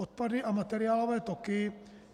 Odpady a materiálové toky.